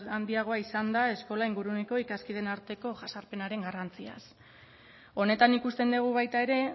handiagoa izan da eskola inguruneko ikaskideen arteko jazarpenaren garrantziaz honetan ikusten dugu baita ere